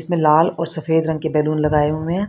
इसमें लाल और सफेद रंग के बैलून लगाए हुए है।